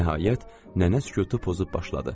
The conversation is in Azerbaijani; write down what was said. Nəhayət, nənə sükutu pozub başladı.